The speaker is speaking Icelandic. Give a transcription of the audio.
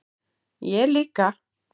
Ég líka